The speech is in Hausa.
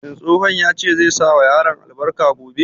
Shin tsohon ya ce zai sa wa yaran albarka gobe?